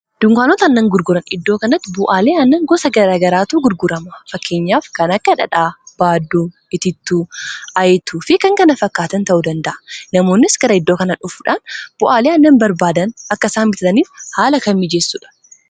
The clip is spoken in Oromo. Dunkaanota annan gurguran iddoo kanatti bu'aalee anna gosa garagaraatu gurgurama fakkeenyaaf kan akka dhadhaa baadduu itiittuu ayitu fi kan kana fakkaatan ta'u danda'a namoonnis gara iddoo kanan dhufuudhaan bu'aalee annan barbaadan akkaisaa bitataniif haala kan mijeessuudha.